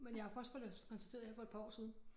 Men jeg har først fået det konstateret her for et par år siden